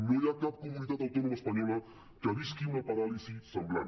no hi ha cap comunitat autònoma espanyola que visqui una paràlisi semblant